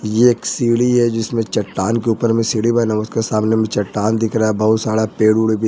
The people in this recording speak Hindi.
यह एक सीढ़ी है जिसमें चट्टान के ऊपर में सीढ़ी बना उसके सामने में चट्टान दिख रहा है बहुत सारा पेड़।